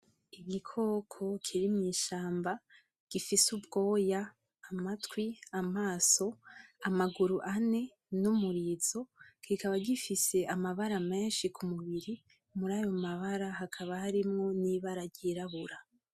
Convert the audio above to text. Igikoko kiri mw'ishamba gifise ubwoya ; amatwi ; amaso ; amaguru ane n’umurizo kikaba gifise amabara meshi ku mubiri murayo mabara hakaba harimwo n’ibara ryirabura.